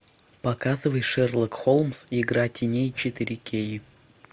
показывай шерлок холмс игра теней четыре кей